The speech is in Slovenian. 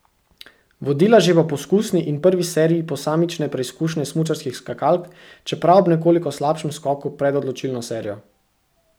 Vodila že po poskusni in prvi seriji posamične preizkušnje smučarskih skakalk, čeprav ob nekoliko slabšem skoku pred odločilno serijo.